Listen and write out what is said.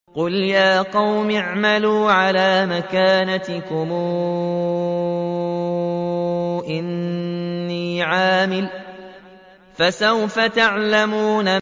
قُلْ يَا قَوْمِ اعْمَلُوا عَلَىٰ مَكَانَتِكُمْ إِنِّي عَامِلٌ ۖ فَسَوْفَ تَعْلَمُونَ